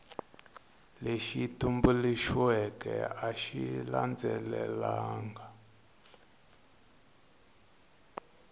lexi tumbuluxiweke a xi landzelelangi